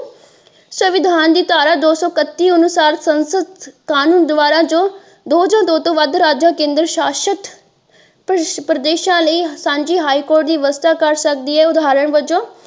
ਸੰਵਿਧਾਨ ਦੀ ਧਾਰਾ ਦੋ ਸੋ ਇਕੱਤੀ ਅਨੁਸਾਰ ਸੰਸਦ ਕ਼ਾਨੂੰਨ ਦੁਆਰਾ ਦੋ ਜਾ ਦੋ ਤੋਂ ਵੱਧ ਰਾਜਾਂ ਕੇਂਦਰ ਸ਼ਾਸਿਤ ਪ੍ਰਦੇਸ਼ਾਂ ਲਈ ਸਾਂਝੀ ਹਈ ਕੋਰਟ ਦੀ ਵਿਵਸਥਾ ਕਰ ਸਕਦੀ ਹੈ ਉਦਹਾਰਣ ਵਜੋਂ।